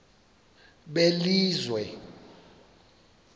belizwe